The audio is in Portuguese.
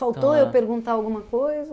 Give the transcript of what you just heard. Faltou eu perguntar alguma coisa?